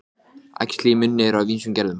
Ég er þessi enginn sem er heima.